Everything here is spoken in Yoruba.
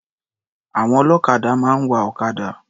Àwọn ọlọ́kadà máa ń wa ọ̀kadà.